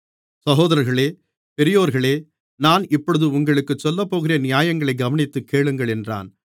சகோதரர்களே பெரியோர்களே நான் இப்பொழுது உங்களுக்குச் சொல்லப்போகிற நியாயங்களை கவனித்துக் கேளுங்கள் என்றான்